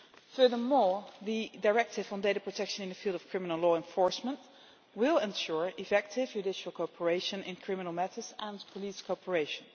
Furthermore, the directive on data protection in the field of criminal law enforcement will ensure effective judicial cooperation in criminal matters and police cooperation.